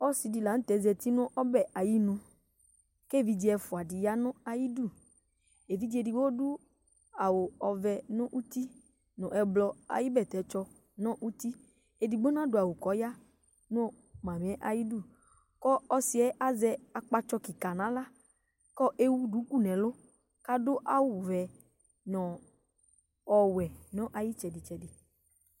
Ɔsi la ntɛ zɛti nʋ ɔbɛ ayʋ inu kʋ evidze ɛfʋadi ya nʋ ayʋ idu Evidze ɛdigbo adu awu ɔvɛ nʋ nʋ ɛblɔ ayʋ bɛtɛ tsɔ nʋ ʋti Ɛdigbo nadu awu kʋ ɔya nʋ mami yɛ ayʋ idu kʋ ɔsi yɛ azɛ akpatsɔ kìka nʋ aɣla kʋ ewu dʋku nʋ ɛlu kʋ adu awu vɛ nʋ ɔwɛ nʋ ayʋ itsɛdi tsɛdi